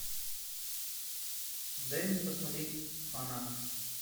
дай мне посмотреть фанат